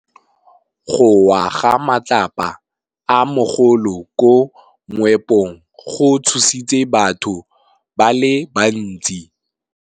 Go wa ga matlapa a magolo ko moepong go tshositse batho ba le bantsi.